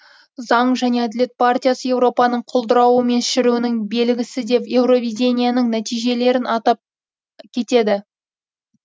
заң және әділет партиясы европаның құлдырауы мен шіруінің белгісі деп евровидениенің нәтижелерін атап кетеді